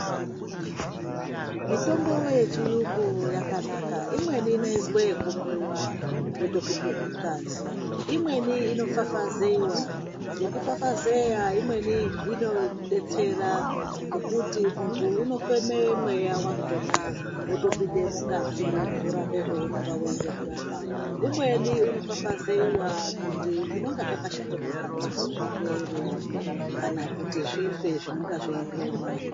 Mitombo yechiyungu yakanaka imweni inoizwe kumwiwa yotopinde mungazi, imweni inofafazeiwa .Yekufafazeya imweni inodetsere ngokuti muntu unofema mweya wakona wopinde mukati wotorape zvaunenge waifana kurapa . Umweni unofafazeiwa kuti zvinonge zvakashata mumbatso zvipere kana kuti zvife zvinenge zvairuma .